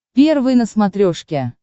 первый на смотрешке